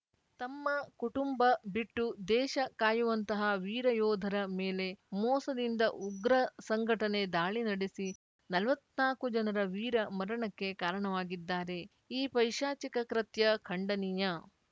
ತಮ್ಮ ಕುಟುಂಬ ಬಿಟ್ಟು ದೇಶ ಕಾಯುವಂತಹ ವೀರ ಯೋಧರ ಮೇಲೆ ಮೋಸದಿಂದ ಉಗ್ರ ಸಂಘಟನೆ ದಾಳಿ ನಡೆಸಿ ನಲವತ್ನಾಕು ಜನರ ವೀರ ಮರಣಕ್ಕೆ ಕಾರಣವಾಗಿದ್ದಾರೆ ಈ ಪೈಶಾಚಿಕ ಕೃತ್ಯ ಖಂಡನೀಯ